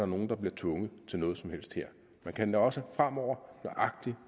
nogen der bliver tvunget til noget som helst her man kan også fremover